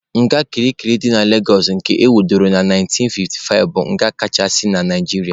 Nga kirikiri dị na Legosụ nke ewubere na 1955 bụ nga kachasị na Naijiria.